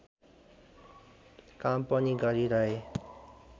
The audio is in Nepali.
काम पनि गरिरहे